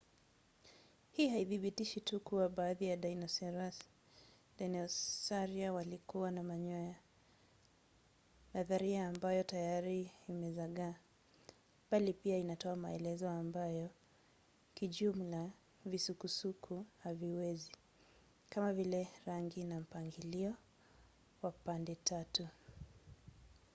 hii haithibitishi tu kuwa baadhi ya dinosaria walikuwa na manyoya nadharia ambayo tayari imezagaa bali pia inatoa maelezo ambayo kijumla visukuku haviwezi kama vile rangi na mpangilio wa pande-tatu